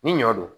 Ni ɲɔ don